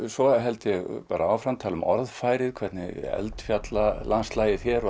svo held ég áfram tala um orðfærið hvernig eldfjallalandslagið hér og